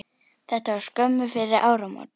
Þetta var skömmu fyrir áramót.